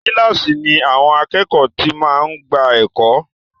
Kílàsì ni àwọn àkẹ́ẹ̀kọ́ ti máa ń gbà ẹ̀kọ́.